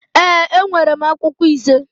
Ee, enwere m akwụkwọ ise